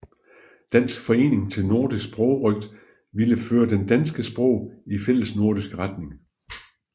Dansk Forening til Nordisk Sprogrøgt ville føre det danske sprog i fællesnordisk retning